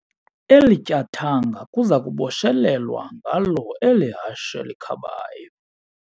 Eli tyathanga kuza kubotshelelwa ngalo eli hashe likhabayo.